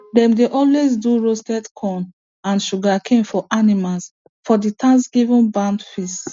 dem dey always do roasted corn and sugarcane for animals for the thanksgiving barn feast